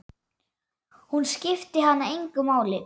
Hún skipti hann engu máli.